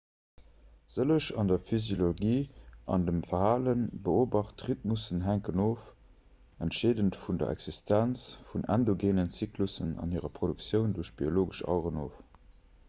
sëlleg an der physiologie an dem verhale beobacht rhythmussen hänken oft entscheedend vun der existenz vun endogeenen zyklussen an hirer produktioun duerch biologesch aueren of